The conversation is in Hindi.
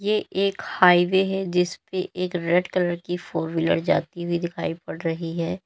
ये एक हाईवे है जिस पे एक रेड कलर की फोर व्हीलर जाती हुई दिखाई पड़ रही है।